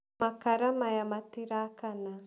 Makara maya matirakana.